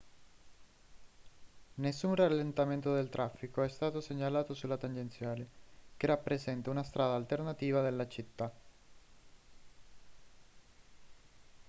nessun rallentamento del traffico è stato segnalato sulla tangenziale che rappresenta una strada alternativa della città